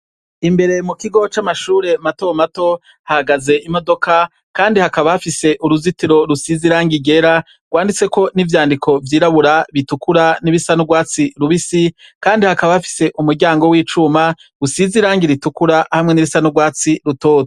Imbere mu kigo c'amashure matomato hagaze imodoka, kandi hakabafise uruzitiro rusiz irangi igera rwanditse ko n'ivyandiko vyirabura bitukura n'ibisan'urwatsi rubisi, kandi hakabafise umuryango w'icuma gusiz irangi ritukura hamwe n'ibisan'urwatsi rutoto.